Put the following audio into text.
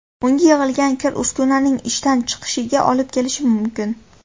Unga yig‘ilgan kir uskunaning ishdan chiqishiga olib kelishi mumkin.